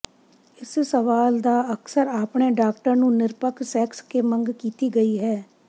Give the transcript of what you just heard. ਇਸ ਸਵਾਲ ਦਾ ਅਕਸਰ ਆਪਣੇ ਡਾਕਟਰ ਨੂੰ ਨਿਰਪੱਖ ਸੈਕਸ ਕੇ ਮੰਗ ਕੀਤੀ ਗਈ ਹੈ